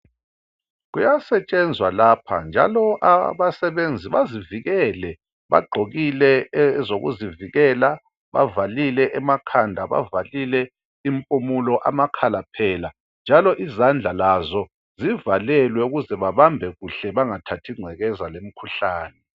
kuyasetshenzwa lapha njalo abasebenzi bazivikele bagqokile ezokuzivikela bavalile emakhanda bavalile impumulo amakhala njalo izandla lazo zivalelwe ukuze babambe kuhle bangathathi ingcekeza lemikhuhlane